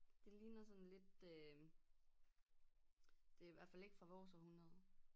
Det ligner sådan lidt øh det er i hvert fald ikke fra vores århundrede